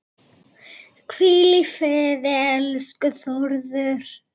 Hvíl í friði, elsku Þórður.